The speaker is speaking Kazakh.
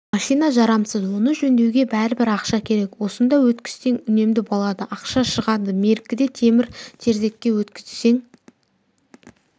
машина жарамсыз оны жөндеуге бәрібір ақша керек осында өткізсең үнемді болады ақша шығады меркіде темір-терсекке өткізсең